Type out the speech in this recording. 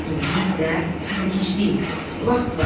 İndi isə hələ gec deyil, vaxt var.